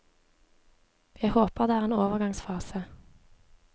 Jeg håper det er en overgangsfase.